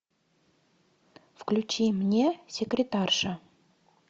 включи мне секретарша